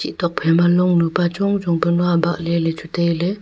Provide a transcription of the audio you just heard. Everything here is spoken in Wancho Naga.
chih tok phaima longnu pa chongchong panu abah ley lechu tailey.